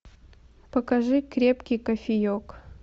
покажи крепкий кофеек